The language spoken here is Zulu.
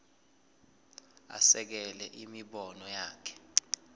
asekele imibono yakhe